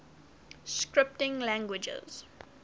scripting languages